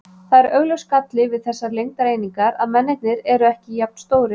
Það er augljós galli við þessar lengdareiningar að mennirnir eru ekki jafn stórir.